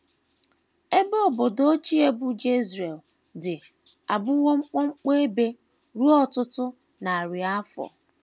EBE obodo ochie bụ́ Jezreel dị abụwo mkpọmkpọ ebe ruo ọtụtụ narị afọ.